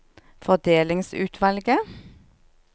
fordelingsutvalget